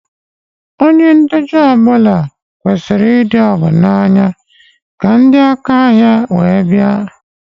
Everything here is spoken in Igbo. Ónyé ntecha ọbula kwesiri ịdị ọgo na-anya ka ndị aka áhiá wee bia nwụọ.